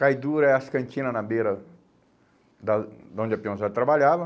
Cai duro é as cantina na beira da de onde a peãozada trabalhava.